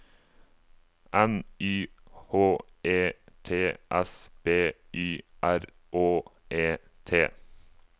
N Y H E T S B Y R Å E T